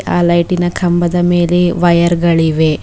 ಆ ಲೈಟಿನ ಕಂಬದ ಮೇಲೆ ವಯರ್ ಗಳಿವೆ.